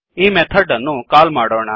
ಈ ಮೆಥಡ್ ಅನ್ನು ಕಾಲ್ ಮಾಡೋಣ